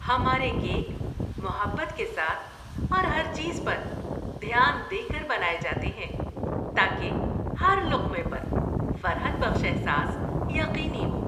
ہمارے کیک محبت کے ساتھ اور ہر چیز پر دھیان دے کر بنائے جاتے ہیں تاکہ ہر لقمے پر فرحت بخش احساس یقینی ہو۔